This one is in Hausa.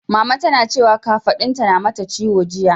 Mama tana cewa kafaɗunta na mata ciwo jiya.